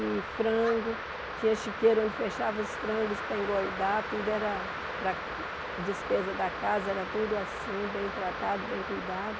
E frango, tinha chiqueiro onde fechava os frangos para engordar, tudo era para a despesa da casa, era tudo assim, bem tratado, bem cuidado.